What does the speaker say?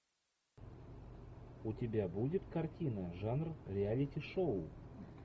у тебя будет картина жанр реалити шоу